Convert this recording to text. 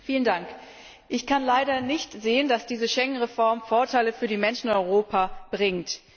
Herr Präsident! Ich kann leider nicht sehen, dass diese Schengen Reform Vorteile für die Menschen in Europa bringt.